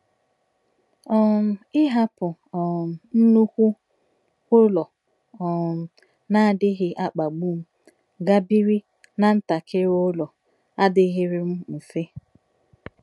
um Ịhapụ um nnukwu ụlọ um na-adịghị akpagbu m gaa biri ná ntakịrị ụlọ adịghịrị m mfe.